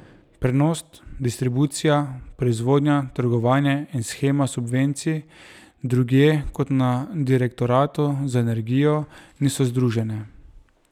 Prenos, distribucija, proizvodnja, trgovanje in shema subvencij drugje kot na direktoratu za energijo niso združene.